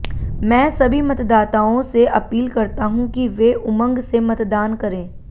मैं सभी मतदाताओं से अपील करता हूं कि वे उमंग से मतदान करें